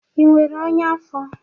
Ị nwere ọnya afọ?